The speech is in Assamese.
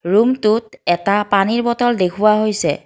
ৰুমটোত এটা পানীৰ বটল দেখুওৱা হৈছে।